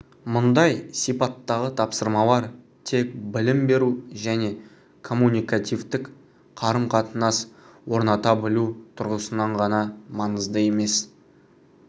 мұндай сипаттағы тапсырмалар тек білім беру және коммуникативтік қарым-қатынас орната білу тұрғысынан ғана маңызды емес